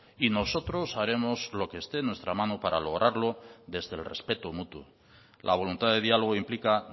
y nosotros haremos lo que esté en nuestra mano para lograrlo desde el respeto mutuo la voluntad de diálogo implica